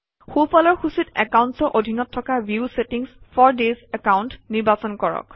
সোঁফালৰ সূচীত একাউণ্টচৰ অধীনত থকা view settings for this account নিৰ্বাচন কৰক